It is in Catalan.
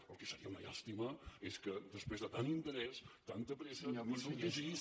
el que seria una llàstima és que després de tant interès tanta pressa ni se’l llegís